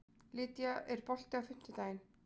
Lýdía, er bolti á fimmtudaginn?